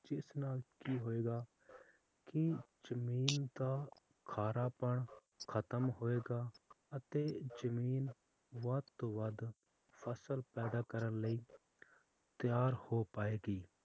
ਇਸ ਨਾਲ ਕੀ ਹੋਏਗਾ ਕੀ ਜਮੀਨ ਦਾ ਖਾਰਾਪਨ ਖਤਮ ਹੋਏਗਾ ਅਤੇ ਜਮੀਨ ਵੱਧ ਤੋਂ ਵੱਧ ਫਸਲ ਪੈਦਾ ਕਰਨ ਲਈ ਤਿਆਰ ਹੋ ਪਾਏਗੀ